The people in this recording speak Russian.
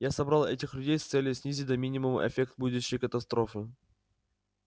я собрал этих людей с целью снизить до минимума эффект будущей катастрофы